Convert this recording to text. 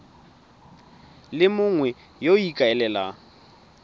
le mongwe yo o ikaelelang